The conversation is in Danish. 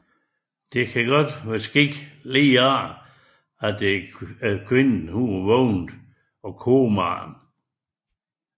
Den kan være sket umiddelbart efter at kvinden var vågnet af komaen